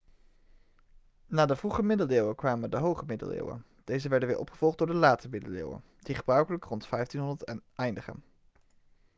na de vroege middeleeuwen kwamen de hoge middeleeuwen deze werden weer opgevolgd door de late middeleeuwen die gebruikelijk rond 1500 eindigen